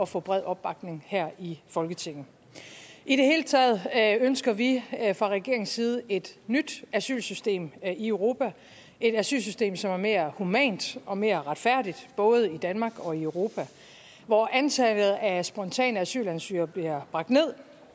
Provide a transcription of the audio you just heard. få bred opbakning her i folketinget i det hele taget ønsker vi fra regeringens side et nyt asylsystem i europa et asylsystem som er mere humant og mere retfærdigt både i danmark og i europa hvor antallet af spontane asylansøgere bliver bragt ned